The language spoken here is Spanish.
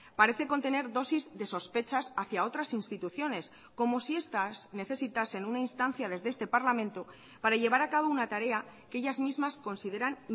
parece contener dosis de sospechas hacia otras instituciones como si estas necesitasen una instancia desde este parlamento para llevar a cabo una tarea que ellas mismas consideran